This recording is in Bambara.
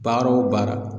Baara o baara